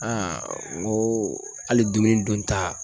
n ko hali dumuni dunta